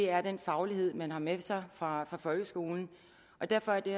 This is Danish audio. er den faglighed man har med sig fra folkeskolen derfor er det